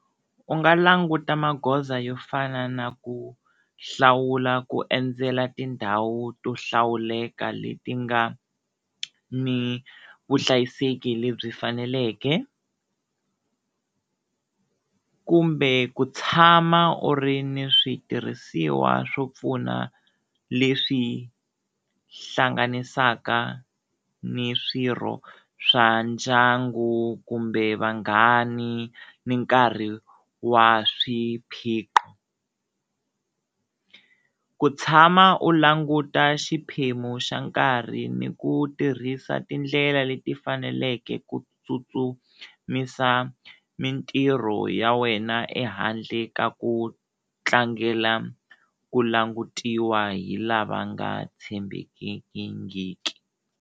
U nga languta magoza yo fana na ku hlawula ku endzela tindhawu to hlawuleka leti nga ni vuhlayiseki lebyi faneleke kumbe ku tshama u ri ni switirhisiwa swo pfuna leswi hlanganisaka ni swirho swa ndyangu kumbe vanghani ni nkarhi wa swiphiqo, ku tshama u languta xiphemu xa nkarhi ni ku tirhisa tindlela leti faneleke ku tsutsumisa mintirho ya wena ehandle ka ku tlangela ku langutiwa hi lava nga tshembekingiki.